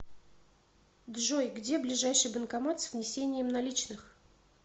джой где ближайший банкомат с внесением наличных